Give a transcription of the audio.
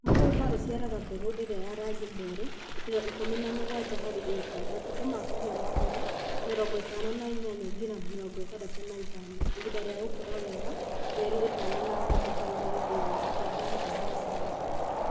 Mũgũnda ũciaraga mbegũ ĩrĩa ya rangi mwerũ: kilo17 harĩ ĩka Matukũ ma kũgĩa mahũa : 58-65 Ihinda rĩa gũkũra wega: mĩeri 3.5-4 Gadam Gadam Rangi: